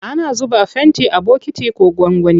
Ana zuba fenti a bokiti ko gwangwani.